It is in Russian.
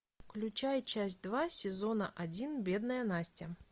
включай часть два сезона один бедная настя